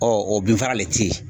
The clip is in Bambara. o bin faga de tɛ ye.